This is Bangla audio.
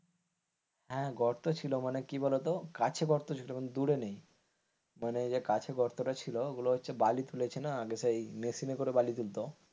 হ্যাঁ গর্ত ছিল মানে কি বলতো কাছে গর্ত ছিল দূরে নেই মানে যে কাছে গর্ত টা ছিল বাড়ি তুলেছে না সেই মেশিনে করে বালি তুলেছিল,